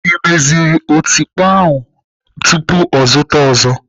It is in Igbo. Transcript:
Ị meziri m otikpo ahụ tupu ya azụta ọzọ?